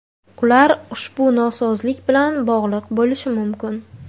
Ular ushbu nosozlik bilan bog‘liq bo‘lishi mumkin.